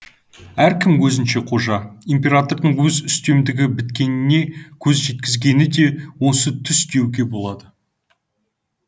әркім өзінше қожа императордың өз үстемдігі біткеніне көз жеткізгені де осы түс деуге болады